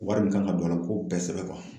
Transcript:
Wari min kan ka don a la, u k'o bɛɛ sɛbɛn